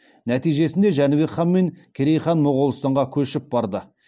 нәтижесінде жәнібек хан мен керей моғолстанға көшіп барды